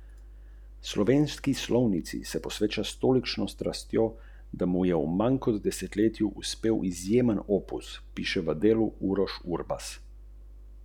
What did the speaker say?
Sicer zapriseženi roker tokrat hrupne kitare postavlja v drugi plan, saj se predstavlja v malce drugačni, nežnejši luči.